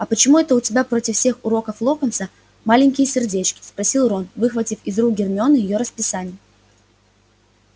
а почему это у тебя против всех уроков локонса маленькие сердечки спросил рон выхватив из рук гермионы её расписание